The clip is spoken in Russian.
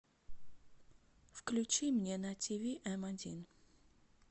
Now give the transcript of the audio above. включи мне на тв м один